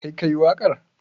Kai ka yi waƙar?